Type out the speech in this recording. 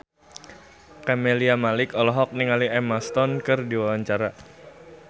Camelia Malik olohok ningali Emma Stone keur diwawancara